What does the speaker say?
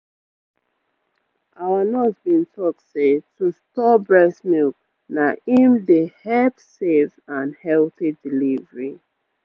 our nurse been talk say to store breast milk na em dey help safe and healthy delivery